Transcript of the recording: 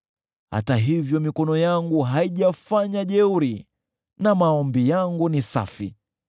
Hata hivyo mikono yangu haijafanya jeuri, na maombi yangu ni safi.